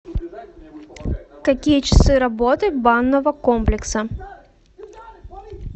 какие часы работы банного комплекса